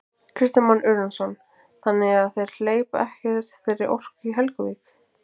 Kristján Már Unnarsson: Þannig að þeir hleypa ekkert þeirri orku í Helguvík?